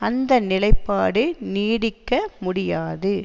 அந்த நிலைப்பாடு நீடிக்க முடியாது